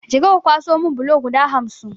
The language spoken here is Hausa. Je ka ka kwaso mun bulo guda hamsin!